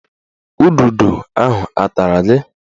Ududo ahụ a tara gị?